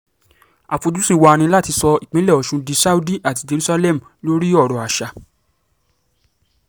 àfojúsùn wa ni láti sọ ìpínlẹ̀ ọ̀ṣun di saudi àti jerusalem lórí ọ̀rọ̀ àṣà